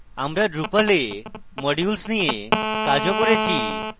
আমরা drupal we modules নিয়ে কাজও করেছি